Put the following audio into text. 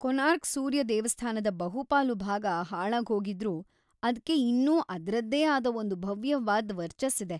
ಕೋನಾರ್ಕ್ ಸೂರ್ಯ ದೇವಸ್ಥಾನದ ಬಹುಪಾಲು ಭಾಗ ಹಾಳಾಗ್ಹೋಗಿದ್ರೂ ಅದ್ಕೆ ಇನ್ನೂ ಅದ್ರದ್ದೇ ಆದ ಒಂದ್ ಭವ್ಯವಾದ್ ವರ್ಚಸ್ಸಿದೆ.